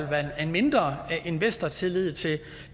være en mindre investortillid til